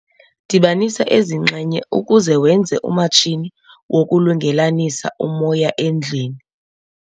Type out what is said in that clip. Dibanisa ezi nxenye ukuze wenze umatshini wokulungelelanisa umoya endlwini.